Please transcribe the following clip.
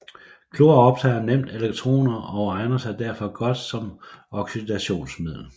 Klor optager nemt elektroner og egner sig derfor godt som oxidationsmiddel